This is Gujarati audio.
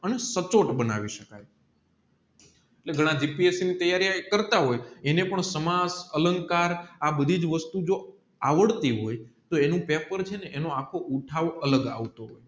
પણ સચોટ બનાવી શકાય તે ગાન dpse ની તૈયારી કરતા હોય એને પણ સમાજ અલંકાર આ બધીજ વસ્તુંજો આવડતી હોય તો એનું પેપર ચેને ણોએ આખો ઉઠાવ અલગ આવતો હોય